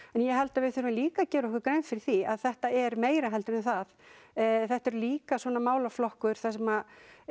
en ég held við þurfum líka að gera okkur grein fyrir því að þetta er meira heldur en það þetta er líka svona málaflokkur þar sem